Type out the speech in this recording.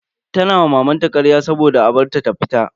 Tana ma mamanta karya saboda a bar ta ta fita.